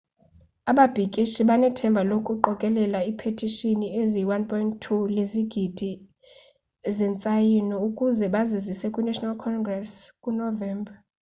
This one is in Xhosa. ababhikishi banethemba lokuqokelela ipetishini eziyi 1.2 lezigidi zentsayino ukuze bazizise kwi national congress ku novemba